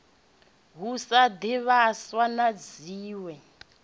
ho sa zwivhaswa na zwiwe